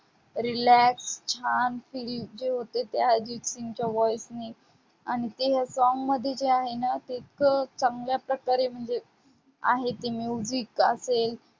relax छान feel जे होते ते अर्जितसिंगच्या voice ने, आणि ते song मध्ये जे आहे ना ते एक चांगल्या प्रकारे म्हणजे आहे ती music असेल,